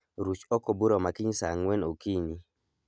Ruch oko bura ma kiny saa ang'wen okinyi